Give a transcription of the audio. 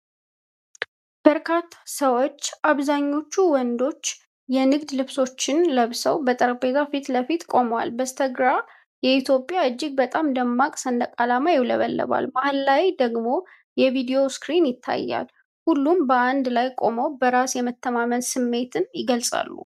በርካታ ሰዎች፣ አብዛኞቹ ወንዶች፣ የንግድ ልብሶችን ለብሰው በጠረጴዛ ፊት ለፊት ቆመዋል። በስተግራ የኢትዮጵያ እጅግ በጣም ደማቅ ሰንደቅ ዓላማ ይውለበለባል፤ መሀል ላይ ደግሞ የቪዲዮ ስክሪን ይታያል። ሁሉም በአንድ ላይ ቆመው በራስ የመተማመን ስሜትን ይገልጻሉ።